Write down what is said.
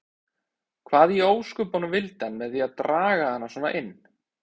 Hvað í ósköpunum vildi hann með því að draga hana svona inn.